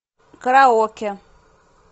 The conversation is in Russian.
караоке